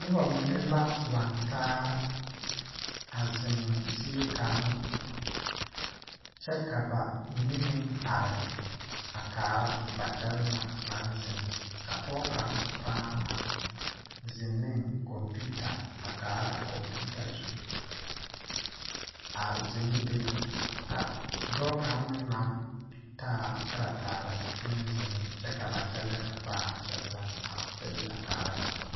Nobɔ mine la laŋtaa a zeŋ zie kaŋ kyɛ ka ba mine meŋ are a kaara ba kyɛlɛɛ na naŋ zeŋ ka pɔɔ kaŋ pãã naŋ zeŋ neŋ kɔmpiuta a kaara a kɔmpiuta zu a zeŋ be ka dɔɔ kaŋ meŋ naŋ taa karataare meŋ zèŋ kyɛ ka ba kyɛlɛɛ na pãã kyɛllɛ ba kyɛ bee a kaara ba.